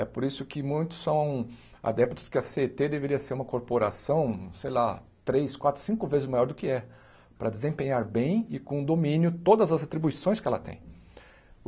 É por isso que muitos são adeptos que a cê ê tê deveria ser uma corporação, sei lá, três, quatro, cinco vezes maior do que é, para desempenhar bem e com domínio todas as atribuições que ela tem.